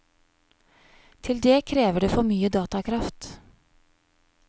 Til det krever det for mye datakraft.